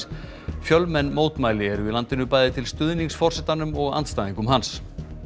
fjölmenn mótmæli eru í landinu bæði til stuðnings forsetanum og andstæðingum hans